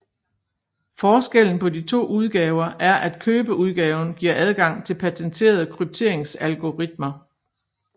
Forskellen på de to udgaver er at købeudgaven giver adgang til patenterede krypteringsalgoritmer